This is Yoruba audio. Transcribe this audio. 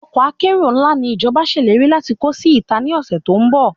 Ọkọ́ akérò ńlá ni ìjọba ṣèlérí láti kó sí ìta ní ọ̀sẹ̀ tó ń bọ̀